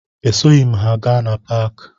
Esoghi m ha gaa na paakị